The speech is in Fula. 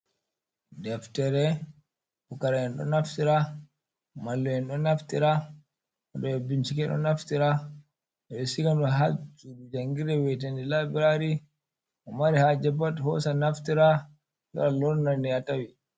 Deftere pukara en ɗo naftira, mallum en ɗon naftira, waɗoɓe binchike ɗon naftira, ɓeɗo siga ɗum ha sudu jangirde wi'ete dei laibirari mo mari haje pat hosa naftira lora lorna de ha tawi.